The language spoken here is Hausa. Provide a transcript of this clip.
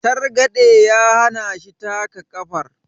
targade ya hana shi taka kafar